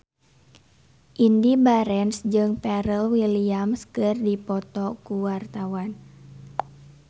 Indy Barens jeung Pharrell Williams keur dipoto ku wartawan